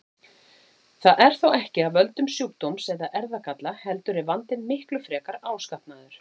Það er þó ekki af völdum sjúkdóms eða erfðagalla heldur er vandinn miklu frekar áskapaður.